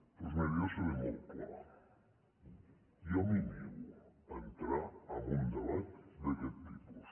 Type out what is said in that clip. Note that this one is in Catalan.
doncs miri jo seré molt clar jo em nego a entrar en un debat d’aquest tipus